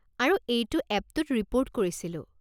আৰু এইটো এপটোত ৰিপ'ৰ্ট কৰিছিলোঁ।